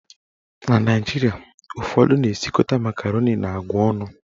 Na Naijiria, ụfọdụ na esikọta makaroni na agwa ọnụ.